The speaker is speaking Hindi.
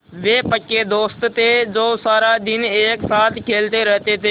वे पक्के दोस्त थे जो सारा दिन एक साथ खेलते रहते थे